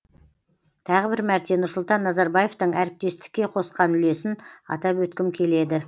тағы бір мәрте нұрсұлтан назарбаевтың әріптестікке қосқан үлесін атап өткім келеді